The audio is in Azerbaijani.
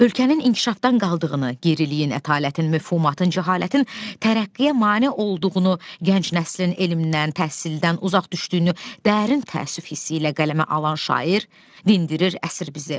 Ölkənin inkişafdan qaldığını, geriliyin ətalətin, mövhumatın, cəhalətin tərəqqiyə mane olduğunu, gənc nəslin elmdən, təhsildən uzaq düşdüyünü dərin təəssüf hissi ilə qələmə alan şair dindirir əsir bizi.